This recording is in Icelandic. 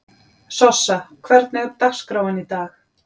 Sossa, hvernig er dagskráin í dag?